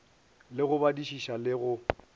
le go badišiša le go